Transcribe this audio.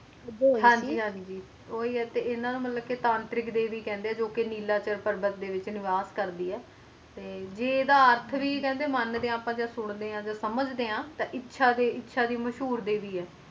ਹਨ ਜੀ ਹਨ ਜੀ ਤੇ ਉਨ੍ਹਾਂ ਨੂੰ ਤਾਂਤਰਿਕ ਦੇਵੀ ਕਹਿੰਦੇ ਆ ਜੋ ਕ ਨੀਲਾ ਦੇਵ ਪਰਬਤ ਦੇ ਵਿਚ ਨਿਵਾਸ ਕਰਦੀ ਹੈ ਤੇ ਜਿੱਡਾ ਅਰਥ ਵੀ ਕਹਿੰਦੇ ਆ ਸੁਣਦੇ ਆਂ ਤੇ ਸਮਝਦੇ